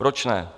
Proč ne?